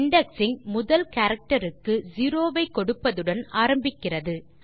indexing முதல் character க்கு 0 ஐ கொடுப்பதுடன் ஆரம்பிக்கிறது